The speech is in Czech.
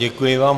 Děkuji vám.